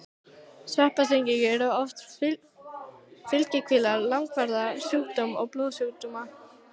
Sveppasýkingar eru oft fylgikvillar langvarandi sjúkdóma og blóðsjúkdóma.